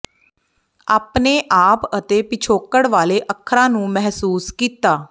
ਆਪਣੇ ਆਪ ਅਤੇ ਪਿਛੋਕੜ ਵਾਲੇ ਅੱਖਰਾਂ ਨੂੰ ਮਹਿਸੂਸ ਕੀਤਾ